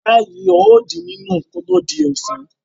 Ìyàrá yìí yóò di nínú kí ó tó di ọ̀sán.